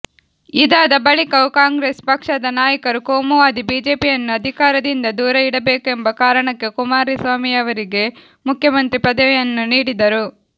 ಇದಾದ ಬಳಿಕವೂ ಕಾಂಗ್ರೆಸ್ ಪಕ್ಷದ ನಾಯಕರು ಕೋಮುವಾದಿ ಬಿಜೆಪಿಯನ್ನು ಅಧಿಕಾರದಿಂದ ದೂರ ಇಡಬೇಕೆಂಬ ಕಾರಣಕ್ಕೆ ಕುಮಾರಸ್ವಾಮಿಯವರಿಗೆ ಮುಖ್ಯಮಂತ್ರಿ ಪದವಿಯನ್ನು ನೀಡಿದರು